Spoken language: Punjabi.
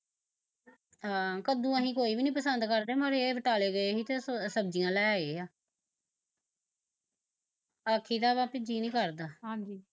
ਹਾਂ ਕੱਦੂ ਅਸੀਂ ਕੋਈ ਵੀ ਨੀ ਪਸੰਦ ਕਰਦੇ ਪਰ ਏਹ ਬਟਾਲੇ ਗਏ ਸੀ ਤੇ ਸਬਜ਼ੀਆਂ ਲੈ ਆਏ ਆ ਆਖੀ ਦਾ ਵੀ ਵੀ ਜੀਅ ਨੀ ਕਰਦਾ, ਹਾਂਜੀ